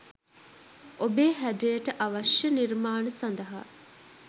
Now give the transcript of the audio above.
ඔබේ හැඩයට අවශ්‍ය නිර්මාණ සඳහා